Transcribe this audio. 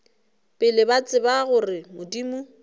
pele ba tseba gore modimo